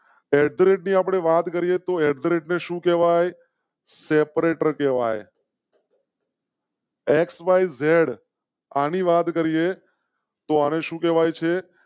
એડધારિત ની આપણે વાત કરીએ તો એડધારિત શું કહેવાય? સેપરેટર કેવાય. એક્સ વાય ઝેડ અ ની વાત કરીએ તો આને શું કહેવાય છે?